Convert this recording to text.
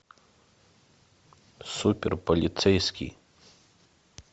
супер полицейский